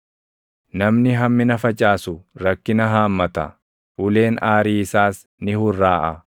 Namni hammina facaasu rakkina haammata; uleen aarii isaas ni hurraaʼaa.